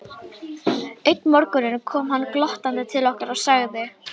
Einn morgun kom hann glottandi til okkar og sagði